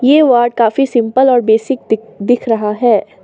ये वार्ड काफी सिंपल और बेसिक दी दिख रहा है।